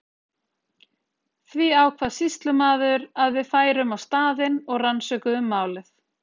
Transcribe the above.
Því ákvað sýslumaður að við færum á staðinn og rannsökuðum málið.